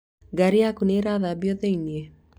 Ngaari yaku nĩ ĩrathambio thĩinĩ?